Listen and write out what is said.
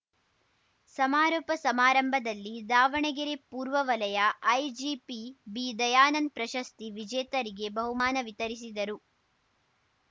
ಸಮಾರೋಪ ಸಮಾರಂಭದಲ್ಲಿ ದಾವಣಗೆರೆ ಪೂರ್ವವಲಯ ಐಜಿಪಿ ಬಿದಯಾನಂದ್‌ ಪ್ರಶಸ್ತಿ ವಿಜೇತರಿಗೆ ಬಹುಮಾನ ವಿತರಿಸಿದರು